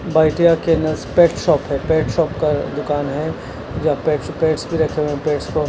बाइटया kennels pet shop है pet shop का दुकान है या पेट्स पेट्स भी रखे हुए हैं पेट्स को--